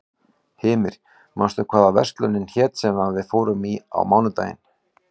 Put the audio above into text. Hymir, manstu hvað verslunin hét sem við fórum í á mánudaginn?